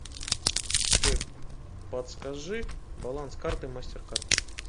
джой подскажи баланс карты мастеркард